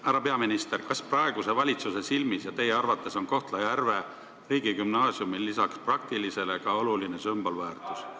Härra peaminister, kas praeguse valitsuse silmis ja teie arvates on Kohtla-Järve riigigümnaasiumil lisaks praktilisele ka suur sümbolväärtus?